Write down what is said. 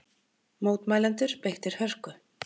Mótmælendur beittir hörku